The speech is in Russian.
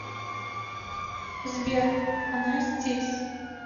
сбер она здесь